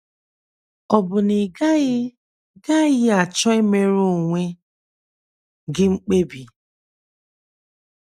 Ọ̀ bụ na ị gaghị gaghị achọ imere onwe gị mkpebi?